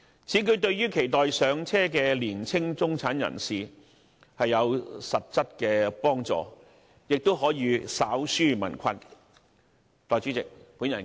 此舉對於期待"上車"的年輕中產人士有實質幫助，亦可稍紓民困。